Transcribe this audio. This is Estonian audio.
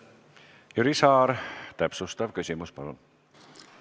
Jüri Saar, täpsustav küsimus, palun!